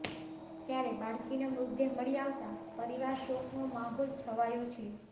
ત્યારે બાળકીનો મૃતદેહ મળી આવતાં પરિવાર શોકનો માહોલ છવાયો છે